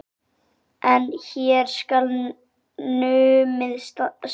En hér skal numið staðar.